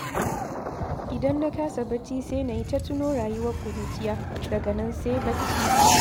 Idan na kasa bacci sai na yi ta tuno rayuwar ƙuruciya, daga nan sai bacci.